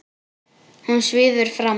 Hún svífur fram.